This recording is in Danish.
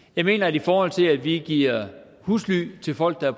jeg mener at i forhold til at vi giver husly til folk der